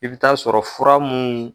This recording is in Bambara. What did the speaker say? I bɛ taa sɔrɔ fura mun.